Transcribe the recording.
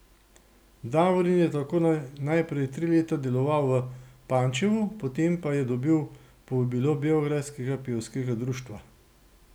Davorin je tako najprej tri leta deloval v Pančevu, potem pa je dobil povabilo Beograjskega pevskega društva.